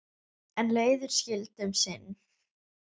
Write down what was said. En leiðir skildu um sinn.